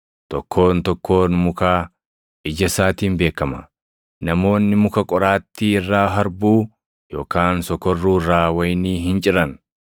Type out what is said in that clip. Tokkoon tokkoon mukaa ija isaatiin beekama. Namoonni muka qoraattii irraa harbuu, yookaan sokorruu irraa wayinii hin ciran.